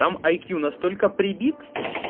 там ай кью настолько прибит